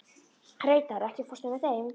Reidar, ekki fórstu með þeim?